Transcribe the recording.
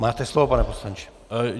Máte slovo, pane poslanče.